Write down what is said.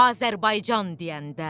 Azərbaycan deyəndə.